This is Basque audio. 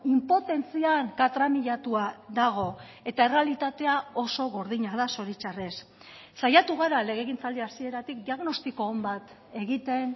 inpotentzian katramilatua dago eta errealitatea oso gordina da zoritxarrez saiatu gara legegintzaldi hasieratik diagnostiko on bat egiten